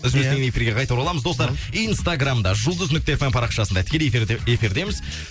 үзілістен кейін эфирге қайта ораламыз достар инстаграмда жұлдыз нүкте фм парақшасында тікелей эфирдеміз